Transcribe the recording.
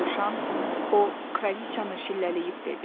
Dovşan o Kralıcanı şillələyib dedi.